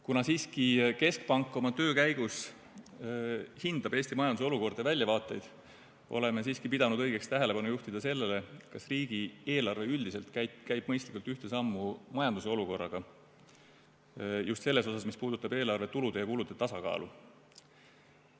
Kuna keskpank oma töö käigus hindab Eesti majanduse olukorda ja väljavaateid, oleme siiski pidanud õigeks juhtida tähelepanu sellele, kas riigieelarve üldiselt käib mõistlikult ühte sammu majanduse olukorraga, just selles osas, mis puudutab eelarve tulude ja kulude tasakaalu.